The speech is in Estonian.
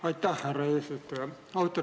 Aitäh, härra eesistuja!